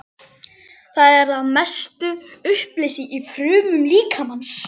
Það er að mestu uppleyst í frumum líkamans.